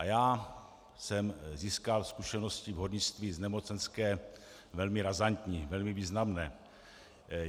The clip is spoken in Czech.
A já jsem získal zkušenosti v hornictví z nemocenské velmi razantní, velmi významné.